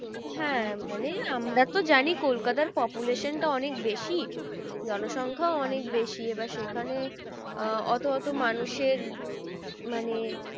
হ্যাঁ মানে আমরা তো জানি কলকাতার population টা অনেক বেশি জনসংখ্যা অনেক বেশি এবার সেখানে আহ অত অত মানুষের মানে